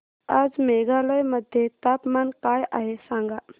आज मेघालय मध्ये तापमान काय आहे सांगा